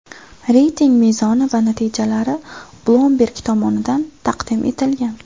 Reyting mezoni va natijalari Bloomberg tomonidan taqdim etilgan .